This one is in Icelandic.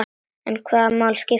En hvaða máli skiptir hann?